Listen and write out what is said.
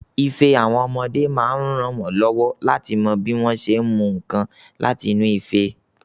Ife àwọn ọmọdé máa ń rànwọ́ lọ́wọ́ láti mọ bí wọ́n ṣé ń mú nǹkan láti inú ife.